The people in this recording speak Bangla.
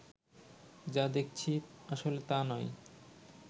যা দেখছি আসলে তা নয়